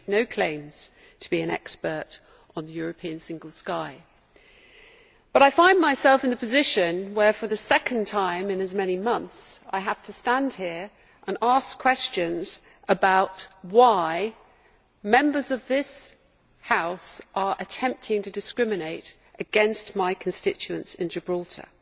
I make no claims to be an expert on the European Single Sky, but I find myself in the position where, for the second time in as many months, I have to stand here and ask questions about why Members of this House are attempting to discriminate against my constituents in Gibraltar.